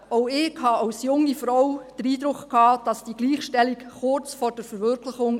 Auch ich hatte als junge Frau den Eindruck, die Gleichstellung stehe kurz vor der Verwirklichung.